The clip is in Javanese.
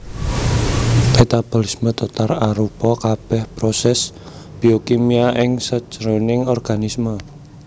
Metabolisme total arupa kabèh prosès biokimia ing sajroning organisme